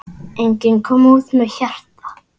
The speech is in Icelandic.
Enginn kom út með hjarta.